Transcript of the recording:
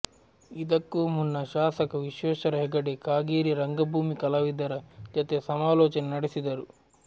ಇದಕ್ಕೂ ಮುನ್ನ ಶಾಸಕ ವಿಶ್ವೇಶ್ವರ ಹೆಗಡೆ ಕಾಗೇರಿ ರಂಗಭೂಮಿ ಕಲಾವಿದರ ಜತೆ ಸಮಾಲೋಚನೆ ನಡೆಸಿದರು